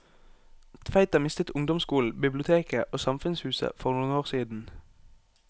Tveita mistet ungdomsskolen, biblioteket og samfunnshuset for noen år siden.